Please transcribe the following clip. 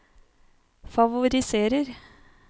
favoriserer